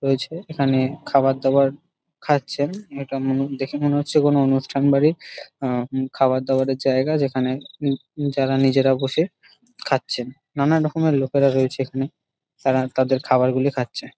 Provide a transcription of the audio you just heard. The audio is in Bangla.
রয়েছে এইখানে খাবার দাবার খাচ্ছেন এটা মনে দেখে মনে হচ্ছে কোনো অনুষ্ঠান বাড়িব় আ হু খাবার দাবার এর জায়গা যেখানে উ উম যারা নিজেরা বসে খাচ্ছেন নানান রকমের লোকরা রয়েছেন এখানে তারা তাদের খাবার গুলি খাচ্ছে |